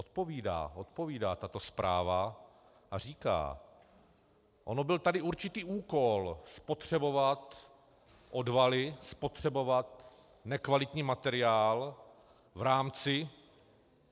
Odpovídá, odpovídá tato zpráva a říká: on byl tady určitý úkol - spotřebovat odvaly, spotřebovat nekvalitní materiál v rámci...